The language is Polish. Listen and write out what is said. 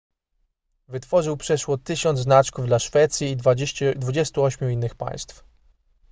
wytworzył przeszło 1000 znaczków dla szwecji i 28 innych państw